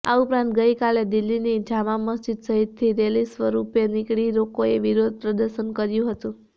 આ ઉપરાંત ગઈકાલે દિલ્હીની જામા મસ્જીદ સહિતથી રેલી સ્વરપે નીકળી લોકોએ વિરોધ પ્રદર્શન કર્યું હતું